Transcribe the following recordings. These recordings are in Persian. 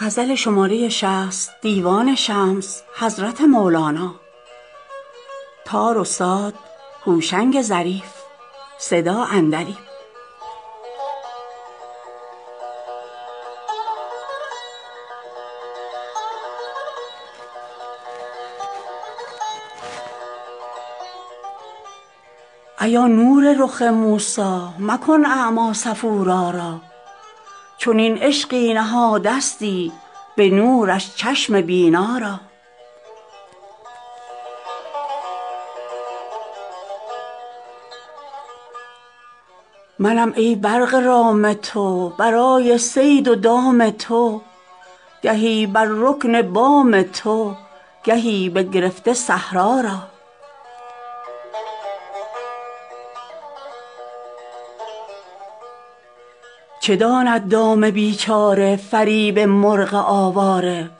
ایا نور رخ موسی مکن اعمی صفورا را چنین عشقی نهادستی به نورش چشم بینا را منم ای برق رام تو برای صید و دام تو گهی بر رکن بام تو گهی بگرفته صحرا را چه داند دام بیچاره فریب مرغ آواره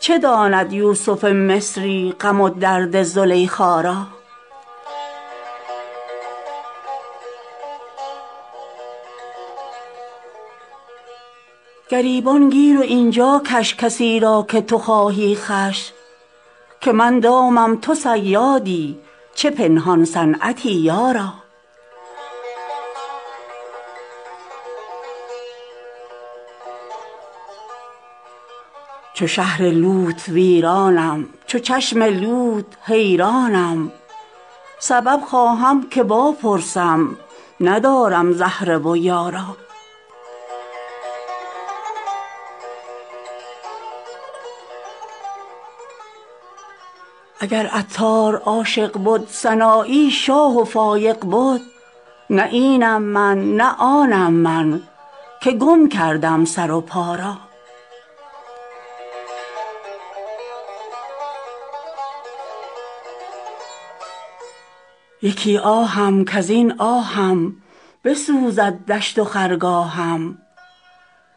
چه داند یوسف مصری غم و درد زلیخا را گریبان گیر و این جا کش کسی را که تو خواهی خوش که من دامم تو صیادی چه پنهان صنعتی یارا چو شهر لوط ویرانم چو چشم لوط حیرانم سبب خواهم که واپرسم ندارم زهره و یارا اگر عطار عاشق بد سنایی شاه و فایق بد نه اینم من نه آنم من که گم کردم سر و پا را یکی آهم کز این آهم بسوزد دشت و خرگاهم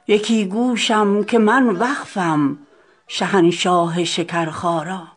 یکی گوشم که من وقفم شهنشاه شکرخا را خمش کن در خموشی جان کشد چون کهربا آن را که جانش مستعد باشد کشاکش های بالا را